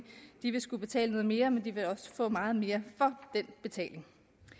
skulle betale noget mere men de vil også få meget mere for den betaling